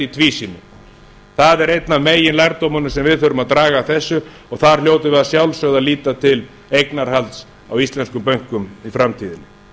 í tvísýnu það er einn af meginlærdómunum sem við þurfum að draga af þessu og þar hljótum við að sjálfsögðu að líta til eignarhalds á íslenskum bönkum í framtíðinni